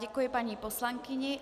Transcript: Děkuji paní poslankyni.